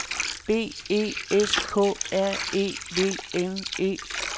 B E S K R E V N E